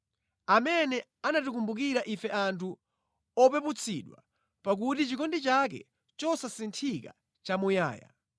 Amene anatikumbukira ife anthu opeputsidwa, pakuti chikondi chake chosasinthika nʼchamuyaya.